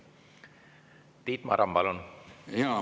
Tiit Maran, palun!